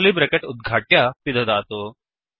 curly bracket उद्घाट्य पिदधातु